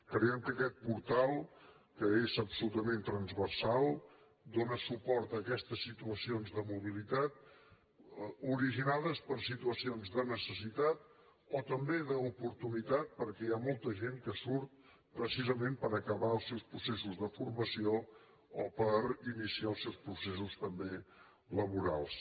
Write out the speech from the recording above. creiem que aquest portal que és absolutament transversal dóna suport a aquestes situacions de mobilitat originades per situacions de necessitat o també d’oportunitat perquè hi ha molta gent que surt precisament per acabar els seus processos de formació o per iniciar els seus processos també laborals